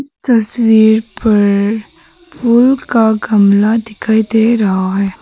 तस्वीर पर फूल का गमला दिखाई दे रहा है।